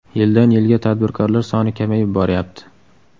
Yildan yilga tadbirkorlar soni kamayib boryapti.